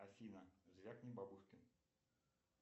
афина звякни бабушке